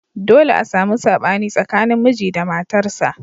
Dolle a samu sabani tsakanin miji da matarsa.